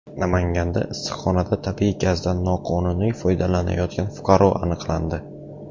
Namanganda issiqxonada tabiiy gazdan noqonuniy foydalanayotgan fuqaro aniqlandi.